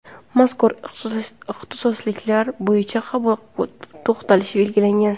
Mazkur ixtisosliklar bo‘yicha qabul to‘xtalishi belgilangan.